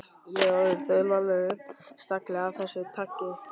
Ég er orðinn þaulvanur stagli af þessu tagi.